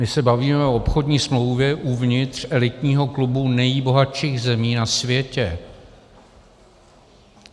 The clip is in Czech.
My se bavíme o obchodní smlouvě uvnitř elitního klubu nejbohatších zemí na světě.